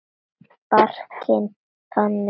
Barkinn þaninn.